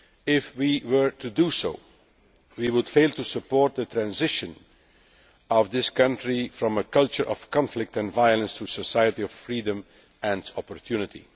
If we were to do so we would fail to support the transition of this country from a culture of conflict and violence to a society of freedom and opportunity.